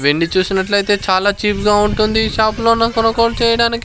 వెండి చూసినట్లయితే చాలా చీప్ గా ఉంటుంది ఈ షాప్ లోనా కొనుగోలు చేయడానికి.